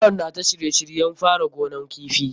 Yaron na ta shirye shiryen fara gonan kifi.